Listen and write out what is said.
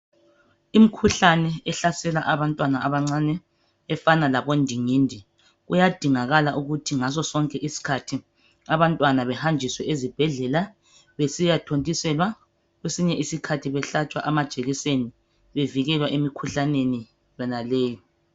Imikhuhlane ehlasela abantwana abancane efana labondingindi. Kuyadingakala ukuthi ngaso sonke isikhathi abantwana behanjiswe ezibhedlela besiyathontiselwa, kwesinye isikhathi behlatshwe amajekiseni bevikelwa emikhuhlaneni yonaleyo.